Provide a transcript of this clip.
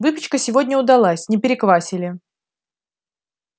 выпечка сегодня удалась не переквасили